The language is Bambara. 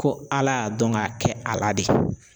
Ko Ala y'a dɔn k'a kɛ a la de